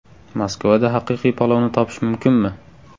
Moskvada haqiqiy palovni topish mumkinmi?